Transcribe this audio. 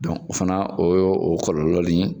o fana kɔlɔlɔ ni.